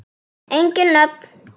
Engin nöfn.